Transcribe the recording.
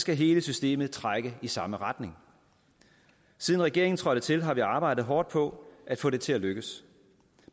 skal hele systemet trække i samme retning siden regeringen trådte til har vi arbejdet hårdt på at få det til at lykkes